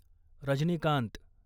Rajinikanth